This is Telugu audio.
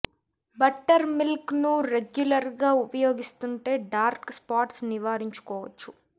బట్టర్ మిల్క్ ను రెగ్యులర్ గా ఉపయోగిస్తుంటే డార్క్ స్పాట్స్ నివారించుకోవచ్చు